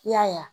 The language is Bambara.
I y'a ye